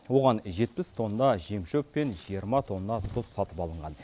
оған жетпіс тонна жем шөп пен жиырма тонна тұз сатып алынған